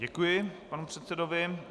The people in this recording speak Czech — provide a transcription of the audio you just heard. Děkuji panu předsedovi.